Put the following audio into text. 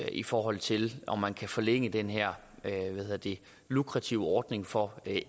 i forhold til om man kan forlænge den her lukrative ordning for